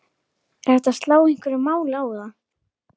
Er hægt að slá einhverju máli á það?